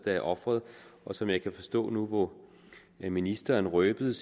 er offeret som jeg kan forstå nu hvor ministeren røbede